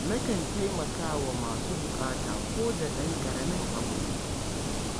Nakan taimaka wa masu buƙata ko da ɗan ƙaramin abu ne.